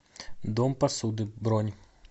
дом посуды бронь